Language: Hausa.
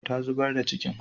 Ta zubar da cikin